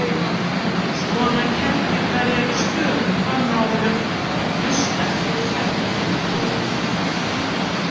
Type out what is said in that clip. Svona kerlingar eru stöðugt á nálum að hlusta eftir ferlegum hljóðum.